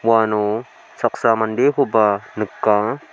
uano saksa mandekoba nika.